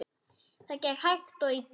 Það gekk hægt og illa.